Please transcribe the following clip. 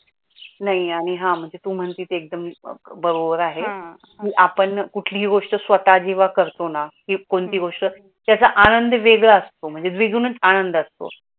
नाही आणि हा म्हणजे तू म्हणते ते एकदम बरोबर आहे. आपण कुठलीही गोष्ट स्वतः जीवा करतो ना ती कोणती गोष्ट त्याचा आनंद वेगळा असतो महणजे द्विगुणीच आनंद असतो.